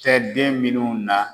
Cɛ den minnu na